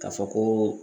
Ka fɔ ko